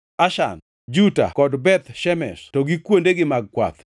Ashan, Juta kod Beth Shemesh to gi kuondegi mag kwath.